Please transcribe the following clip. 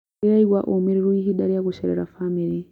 Ndĩraigua ũũmĩrĩru ihinda rĩa gũcerera bamĩrĩ.